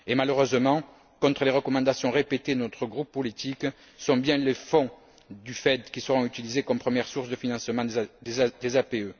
Et malheureusement, contre les recommandations répétées de notre groupe politique, ce sont bien les fonds du FED qui seront utilisés comme première source de financement des APE.